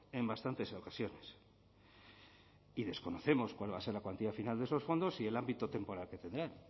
en bastantes ocasiones y desconocemos cuál va a ser la cuantía final de esos fondos y el ámbito temporal que tendrán